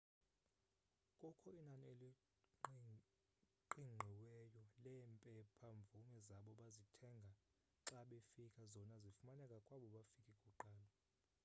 kukho inani eliqingqiweyo leempepha-mvume zabo bazithanga xa befika zona zifumaneka kwabo bafike kuqala